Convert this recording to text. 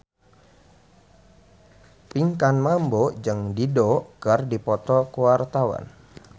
Pinkan Mambo jeung Dido keur dipoto ku wartawan